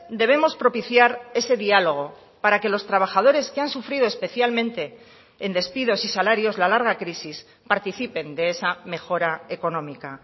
debemos propiciar ese diálogo para que los trabajadores que han sufrido especialmente en despidos y salarios la larga crisis participen de esa mejora económica